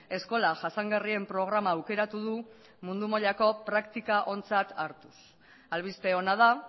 eskola jasangarrien programa aukeratu du mundu mailako praktika ontzat hartuz albiste ona da